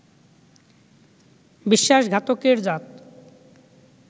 বিশ্বাসঘাতকের জাত